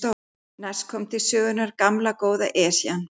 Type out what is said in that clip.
Næst kom til sögunnar gamla, góða Esjan.